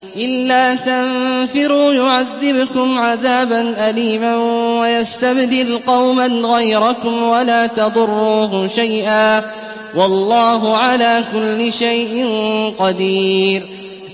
إِلَّا تَنفِرُوا يُعَذِّبْكُمْ عَذَابًا أَلِيمًا وَيَسْتَبْدِلْ قَوْمًا غَيْرَكُمْ وَلَا تَضُرُّوهُ شَيْئًا ۗ وَاللَّهُ عَلَىٰ كُلِّ شَيْءٍ قَدِيرٌ